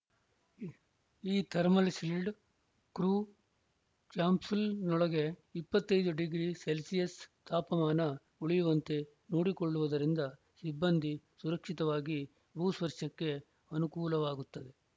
ಈ thermal shield crew ಕ್ಯಾಪ್ಸೂಲ್‌ನೊಳಗೆ ಇಪ್ಪತ್ತ್ ಐದು ಡಿಗ್ರಿ ಸೆಲ್ಸಿಯಸ್‌ ತಾಪಮಾನ ಉಳಿಯುವಂತೆ ನೋಡಿಕೊಳ್ಳುವುದರಿಂದ ಸಿಬ್ಬಂದಿ ಸುರಕ್ಷಿತವಾಗಿ ಭೂಸ್ಪರ್ಷಕ್ಕೆ ಅನುಕೂಲವಾಗುತ್ತದೆ